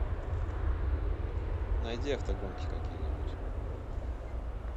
найди автогонки какие нибудь